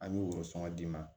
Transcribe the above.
An y'o sɔngɔn d'i ma